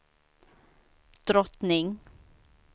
drottning